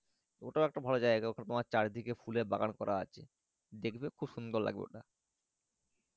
ওটা একটা ভালো জায়গা ওখানে তোমার চারি দিকে ফুলের বাগান করা আছে দেখবে খুব সুন্দর লাগবে ওটা